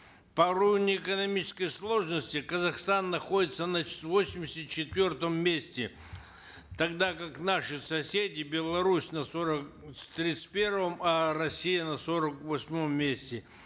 по уровню экономической сложности казахстан находится на восемьдесят четвертом месте тогда как наши соседи беларусь на сорок тридцать первом а россия на сорок восьмом месте